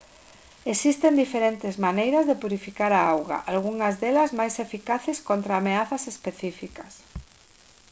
existen diferentes maneiras de purificar a auga algunhas delas máis eficaces contra ameazas específicas